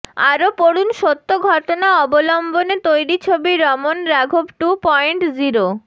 আরও পড়ুন সত্য ঘটনা অবলম্বনে তৈরি ছবি রমন রাঘব টু পয়েন্ট জিরো